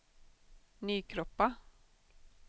Nykroppa